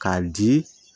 K'a di